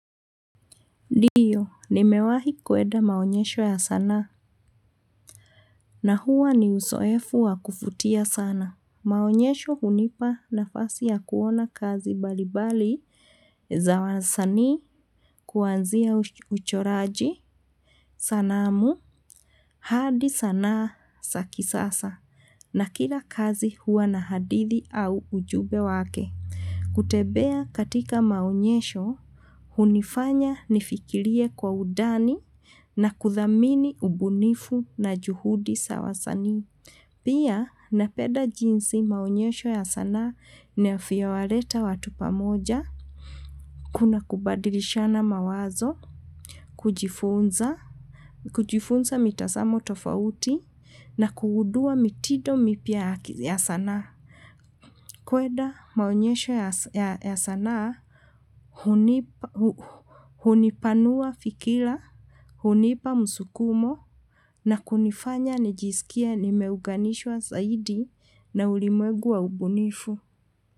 Ndiyo, nimewahi kuenda maonyesho ya sanaa, na huwa ni usoefu wa kufutia sana. Maonyesho hunipa nafasi ya kuona kazi balibali za wasanii kuwanzia uchoraji, sanamu, hadi sanaa sa kisasa, na kila kazi huwa na hadithi au ujube wake. Kutebea katika maonyesho, hunifanya nifikirie kwa udani na kuthamini ubunifu na juhudi sa wasanii. Pia, napeda jinsi maonyesho ya sanaa nafyowaleta watu pamoja, kuna kubadilishana mawazo, kujifunza, kujifunza mitasamo tofauti, na kugudua mitido mipya ya sanaa. Kweda maonyesho ya sanaa. Hunipanua fikila, hunipa msukumo. Na kunifanya nijisikie nimeuganishwa zaidi na ulimwegu wa ubunifu.